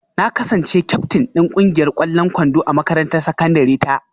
Na kasance kyaftin din kungiyar kwallon kwando a makarantar sakandare ta